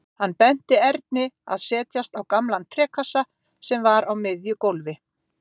Hann benti Erni að setjast á gamlan trékassa sem var á miðju gólfi.